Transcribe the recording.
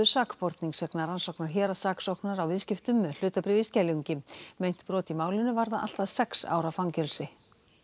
sakbornings vegna rannsóknar héraðssaksóknara á viðskiptum með hlutabréf í Skeljungi meint brot í málinu varða allt að sex ára fangelsi